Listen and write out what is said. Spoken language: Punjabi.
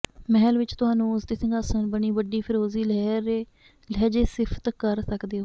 ਮਹਿਲ ਵਿੱਚ ਤੁਹਾਨੂੰ ਉਸ ਦੇ ਸਿੰਘਾਸਣ ਬਣੀ ਵੱਡੀ ਫਿਰੋਜ਼ੀ ਲਹਿਜ਼ੇ ਸਿਫਤ ਕਰ ਸਕਦੇ ਹੋ